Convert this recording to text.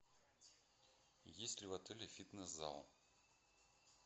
есть ли в отеле фитнес зал